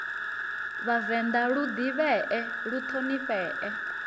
vhavenḓa lu ḓivhee lu ṱhonifhee